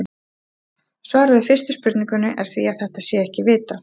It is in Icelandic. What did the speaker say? Svarið við fyrstu spurningunni er því að þetta sé ekki vitað.